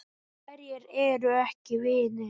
Hverjir eru ekki vinir?